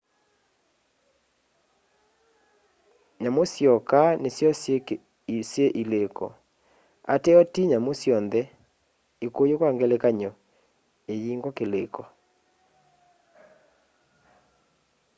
nyamu syoka nisyo syi iliko ateo ti nyamu syonthe; ikuyu kwa ngelekany'o iyingwa kiliko